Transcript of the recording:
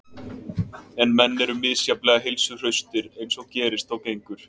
En menn eru misjafnlega heilsuhraustir eins og gerist og gengur.